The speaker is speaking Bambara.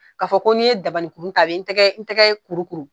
Ka fɔ ko n'i ye dabaninkuru ta a bɛ n tɛgɛ n tɛgɛ in kurukuru.